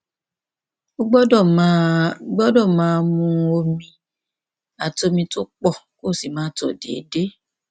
o gbọdọ máa gbọdọ máa mu omi àti omi tó pọ kó o sì máa tọ déédéé